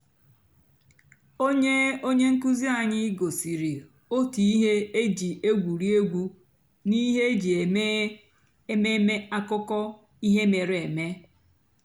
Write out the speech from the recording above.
ónyé ónyé ǹkụ́zí ànyị́ gosìrí ótú íhé é jì ègwùrí ègwú n'íhé é jì èmèé èmèmé àkụ́kọ̀ íhé mèéré èmé.